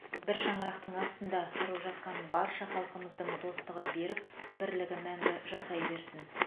бір шаңырақтың астында тұрып жатқан барша халқымыздың достығы берік бірлік мәңгі жасай берсін